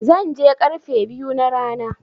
Zan je karfe biyu na rana.